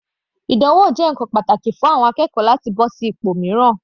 Ìdánwò jẹ́ ǹkan pàtàkì fún àwọn akẹ́kọ̀ọ́ láti bọ́ sí ipò mìíràn.